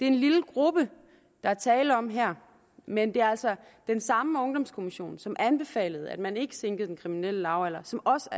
en lille gruppe der er tale om her men det er altså den samme ungdomskommission som anbefalede at man ikke sænkede den kriminelle lavalder som også